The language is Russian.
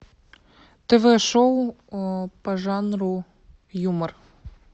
тв шоу по жанру юмор